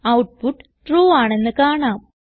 output true ആണെന്ന് കാണാം